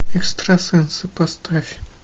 экстрасенсы поставь